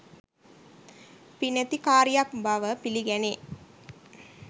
පිනැති කාරියක් බව පිළිගැනේ.